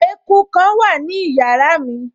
Eku kan wà ní yàrá mi